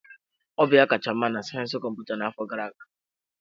Ọ bụ ya kacha mma na sayensị kọmputa n'afọ gara aga.